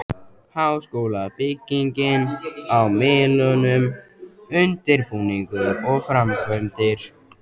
Háskólabyggingin á Melunum- undirbúningur og framkvæmdir